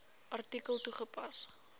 artikel toegepas